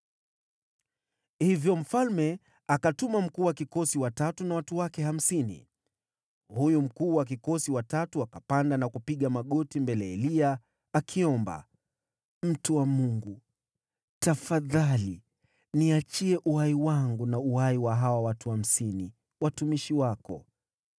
Hivyo mfalme akatuma mkuu wa kikosi wa tatu na watu wake hamsini. Huyu mkuu wa kikosi wa tatu akapanda na kupiga magoti mbele ya Eliya, akiomba, “Mtu wa Mungu, tafadhali niachie uhai wangu na uhai wa hawa watu hamsini, watumishi wako!